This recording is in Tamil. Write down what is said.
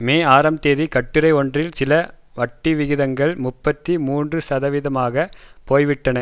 மே ஆறாம் தேதி கட்டுரை ஒன்றில் சில வட்டிவிகிதங்கள் முப்பத்தி மூன்றுசதவிகிதமாகப் போய்விட்டன